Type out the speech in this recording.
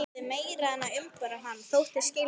Gerði meira en að umbera hann: þóttist skilja hann.